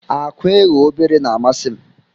Akwa eghe obere na amasim.